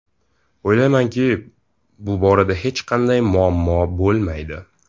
O‘ylaymanki, bu borada hech qanday muammo bo‘lmaydi”.